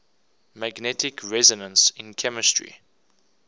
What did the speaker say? magnetic resonance in chemistry